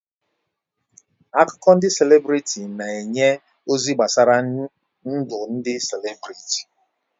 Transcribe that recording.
Akụkọ ndị selebrịtị na-enye ozi gbasara ndụ ndị selebrịtị.